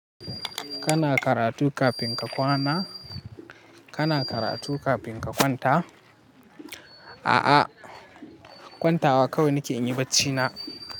Kana karatu kafin ka kwana? Kana karatu kafin ka kwanta? A'a kwantawa kawai nake yin bacina.